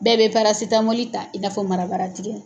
Bɛɛ bɛ parasitamɔli ta i n'a fɔ marabara tigɛ.